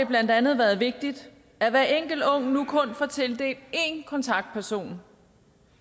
blandt andet været vigtigt at hver enkelt ung nu kun får tildelt én kontaktperson